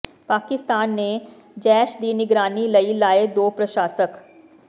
ਪਾਕਿਸਤਾਨ ਨੇ ਜੈਸ਼ ਦੀ ਨਿਗਰਾਨੀ ਲਈ ਲਾਏ ਦੋ ਪ੍ਰਸ਼ਾਸਕ